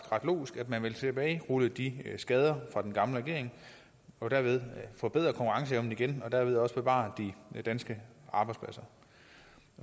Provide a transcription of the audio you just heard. logisk at man vil tilbagerulle de skader fra den gamle regering og derved forbedre konkurrenceevnen igen og derved også bevare de danske arbejdspladser